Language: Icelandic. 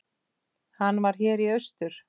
Hann var hér í austur.